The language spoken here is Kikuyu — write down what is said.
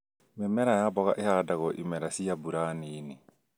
Mĩmera ya mboga ĩhandagwo imera cia mbura nini